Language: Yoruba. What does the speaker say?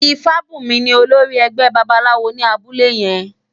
Ifabunmi ni ólórì ègbè bàbáláwó ni àbúlé yèn